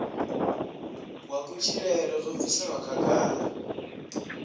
wa kutshilele zwo bviselwa khagala